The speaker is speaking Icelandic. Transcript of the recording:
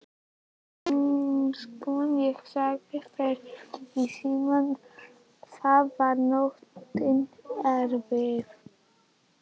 Einsog ég sagði þér í símann þá var nóttin erfið.